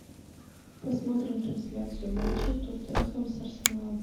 посмотрим трансляцию матча тоттенхэм с арсеналом